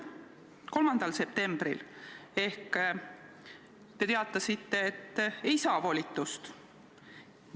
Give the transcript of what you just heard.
3. septembril te teatasite, et volitust ei saa.